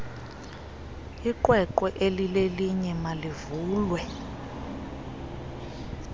iqweqwe elilelinye malivulwe